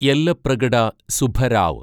Yellapragada Subbarao